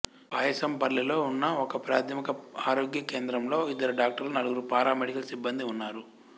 పాయసంపల్లెలో ఉన్న ఒకప్రాథమిక ఆరోగ్య కేంద్రంలో ఇద్దరు డాక్టర్లు నలుగురు పారామెడికల్ సిబ్బందీ ఉన్నారు